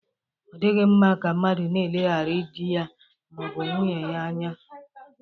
Ọ dịghị mma ka mmadụ na-eleghara di ya ma ọ bụ nwunye ya anya.